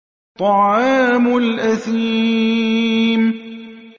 طَعَامُ الْأَثِيمِ